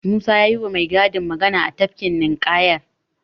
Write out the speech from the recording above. Musa ya yiwa mai gadin magana a tafkin ninƙayar.